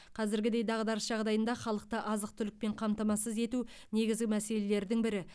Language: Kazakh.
қазіргідей дағдарыс жағдайында халықты азық түлікпен қамтамасыз ету негізгі мәселелердің бірі